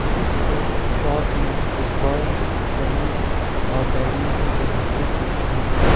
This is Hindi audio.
इस पोट्स शॉप में फुटबॉल टेनिस और बैडमिंटन के रैकेट दिख रहे हैं।